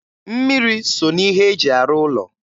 Mmiri so n'ihe e ji arụ ụlọ